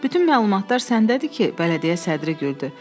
Bütün məlumatlar səndədir ki, bələdiyyə sədri güldü.